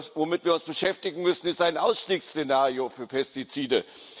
Womit wir uns beschäftigen müssen, ist ein Ausstiegsszenario für Pestizide.